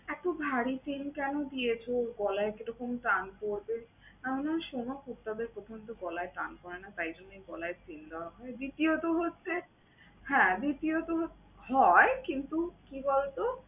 এতো ভারী chain কেন দিয়েছো গলায়? কি রকম টান পড়বে। আমি বললাম শোনো, কুত্তাদের প্রথমত গলায় টান পরে না তাই জন্যই chain গলায় দেওয়া হয়। দ্বিতীয়ত হচ্ছে হ্যাঁ দ্বিতীয়ত হ্~ হয় কিন্তু কি বলতো